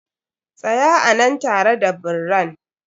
Tsaya a nan tare da birran!